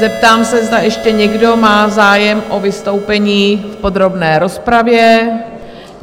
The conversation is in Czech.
Zeptám se, zda ještě někdo má zájem o vystoupení v podrobné rozpravě?